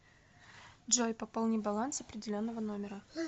джой пополни баланс определенного номера